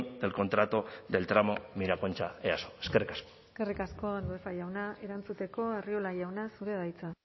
del contrato del tramo miraconcha easo eskerrik asko eskerrik asko andueza jauna erantzuteko arriola jauna zurea da hitza